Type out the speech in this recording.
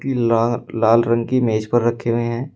लाल रंग की मेज पर रखे हुए हैं।